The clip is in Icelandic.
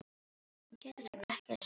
En Pétur þarf ekki að segja meira.